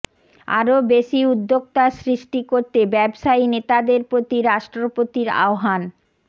আরো বেশি উদ্যোক্তা সৃষ্টি করতে ব্যবসায়ী নেতাদের প্রতি রাষ্ট্রপতির আহ্বান